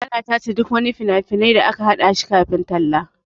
Ana tace duk wani fina-finai da aka haɗa shi kafin a kalla.